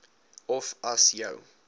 of as jou